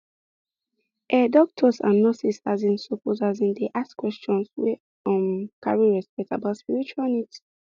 ehh doctors and and nurses asin suppose asin dey ask questions wey um carry respect about spiritual needs